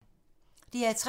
DR P3